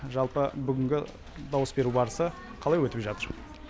жалпы бүгінгі дауыс беру барысы қалай өтіп жатыр